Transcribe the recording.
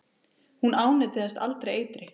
Hún ánetjast aldrei eitri.